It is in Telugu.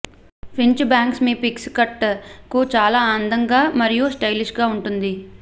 ఫ్రించ్ బ్యాంగ్స్ మీ పిక్స్ కట్ కు చాలా అందుంగా మరియు స్టైలిష్ గా ఉంటుంది